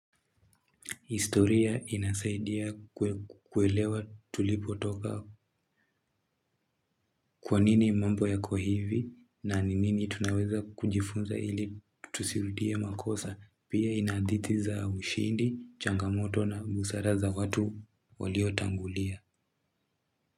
Historia inasaidia kuelewa tulipotoka kwa nini mambo yako hivi na nini tunaweza kujifunza ili tusirudie makosa pia inahadithi za ushindi, changamoto na busaraza watu waliotangulia.